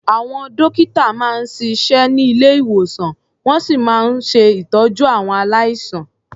Àwọn dọ́kítà máa ń siṣẹ́ ní ilé-ìwòsàn, wọ́n sì máa ń ṣe ìtọ́jú àwọn aláìsàn.